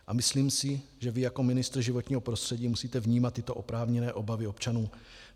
A myslím si, že vy jako ministr životního prostředí musíte vnímat tyto oprávněné obavy občanů.